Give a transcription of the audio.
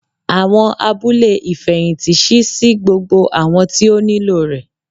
Awọn abule ifẹhinti ṣii si gbogbo awọn ti o nilo rẹ